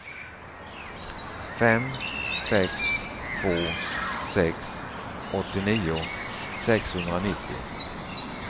fem sex två sex åttionio sexhundranittio